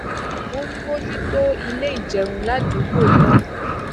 ó ń bójú tó ilé ìjẹun ládùúgbò náà